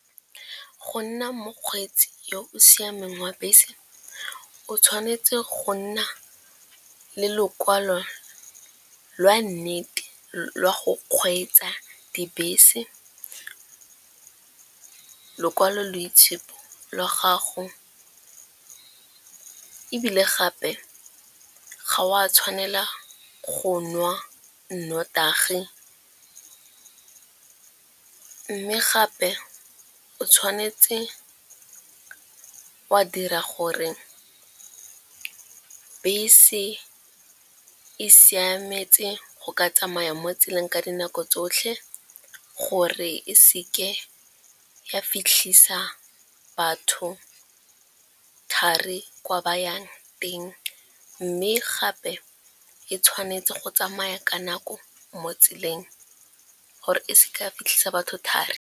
Go nna mokgweetsi yo o siameng wa bese o tshwanetse go nna le lokwalo lwa nnete la go kgweetsa dibese, lekwaloitshupo la gago ebile gape ga o a tshwanela go nwa nnotagi. Mme gape o tshwanetse wa dira gore bese e siametse go ka tsamaya mo tseleng ka dinako tsotlhe gore e seke ya fitlhisa batho thari kwa ba yang teng. Mme gape e tshwanetse go tsamaya ka nako mo tseleng gore e se ka fitlhisa batho thari.